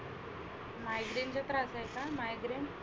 migrain चा त्रास आहे का? migrain